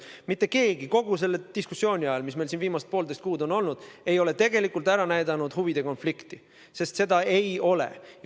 Mitte keegi ei ole kogu selle diskussiooni ajal, mis meil siin viimased poolteist kuud on olnud, ei ole tegelikult ära näidanud huvide konflikti, sest seda ei ole.